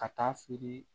Ka taa feere